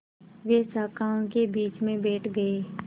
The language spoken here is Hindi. वे शाखाओं के बीच में बैठ गए